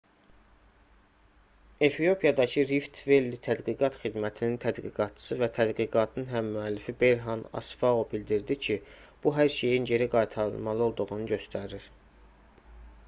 efiopiyadakı rift-velli tədqiqat xidmətinin tədqiqatçısı və tədqiqatın həmmüəllifi berhan asfau bildirdi ki bu hər şeyin geri qaytarılmalı olduğunu göstərir